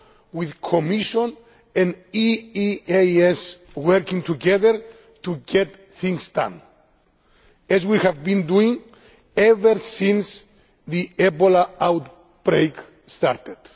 with the Commission and the EEAS working together to get things done, as we have been doing ever since the Ebola outbreak started.